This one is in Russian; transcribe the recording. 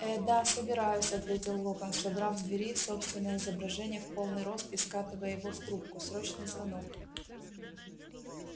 ээ да собираюсь ответил локонс содрав с двери собственное изображение в полный рост и скатывая его в трубку срочный звонок